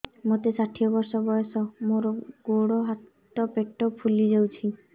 ମୋତେ ଷାଠିଏ ବର୍ଷ ବୟସ ମୋର ଗୋଡୋ ହାତ ପେଟ ଫୁଲି ଯାଉଛି